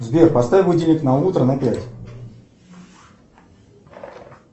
сбер поставь будильник на утро на пять